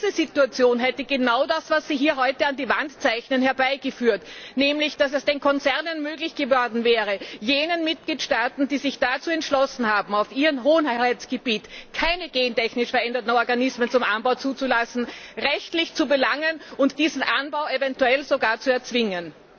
Und diese Situation hätte genau das, was Sie hier heute an die Wand zeichnen, herbeigeführt, nämlich dass es den Konzernen möglich geworden wäre, jene Mitgliedstaaten, die sich dazu entschlossen haben, auf ihrem Hoheitsgebiet keine gentechnisch veränderten Organismen zum Anbau zuzulassen, rechtlich zu belangen und diesen Anbau eventuell sogar zu erzwingen.